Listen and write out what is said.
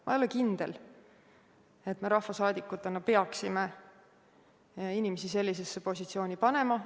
Ma ei ole kindel, et me rahvasaadikutena peaksime inimesi sellisesse positsiooni panema.